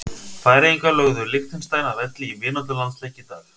Færeyjar lögðu Liechtenstein að velli í vináttulandsleik í dag.